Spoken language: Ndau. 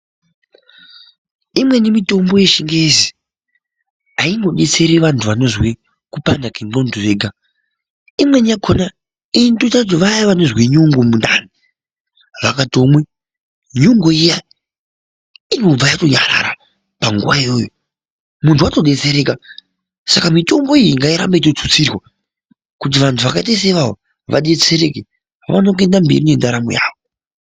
Imweni mitombo yechingezi haimbodetsiri wandu wanozwe kupanda kwemundu ega, imweni yakhona inoita kuti vaya vanozwe nyongo mundani, wangatomwe nyongo iya inotobve yatonyarara panguwa iyoyo mundu watobetsereka saka mitombo iyoyo ngaitorambe yeitotutsirwa kuti wandu wakaita seiwawo wadetsereke waone kuenda mberi ngendaa more yawo.